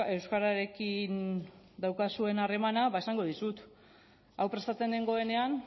euskararekin daukazuen harremana ba esango dizut hau prestatzen nengoenean